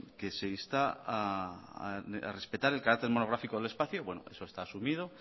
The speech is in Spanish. que se insta a respetar el carácter monográfico del espacio bueno eso está asumido